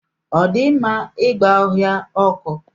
Ọ dị mma ịgba ọhịa ọkụ?